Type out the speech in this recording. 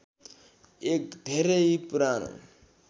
एक धेरै पुरानो